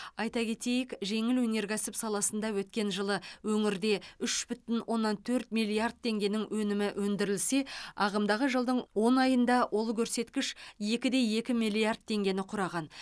айта кетейік жеңіл өнеркәсіп саласында өткен жылы өңірде үш бүтін оннан төрт миллиард теңгенің өнімі өндірілсе ағымдағы жылдың он айында ол көрсеткіш екі де екі миллиард теңгені құраған